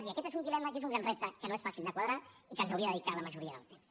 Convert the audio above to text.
i aquest és un dilema i és un gran repte que no és fàcil de quadrar i que ens hauria de dedicar la majoria del temps